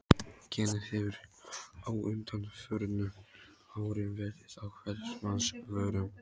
Genið hefur á undanförnum árum verið á hvers manns vörum.